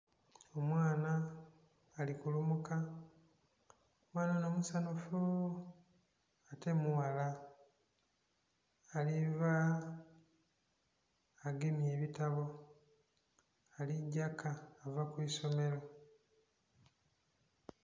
Omwana ali kulumuka, omwana ono musanhufu ate mughala aliva agemye ebitabo alija ka ava ku isomiro.